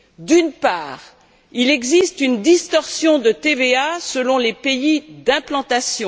D'une part, il existe une distorsion de TVA selon les pays d'implantation.